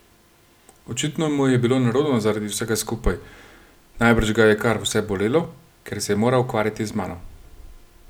Očitno mu je bilo nerodno zaradi vsega skupaj, najbrž ga je kar vse bolelo, ker se je moral ukvarjati z mano.